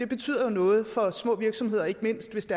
betyder noget for små virksomheder og ikke mindst hvis